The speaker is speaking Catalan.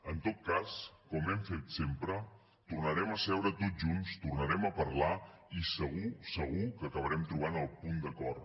en tot cas com hem fet sempre tornarem a seure tots junts tornarem a parlar i segur segur que acabarem trobant el punt d’acord